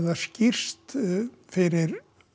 það skýrst fyrir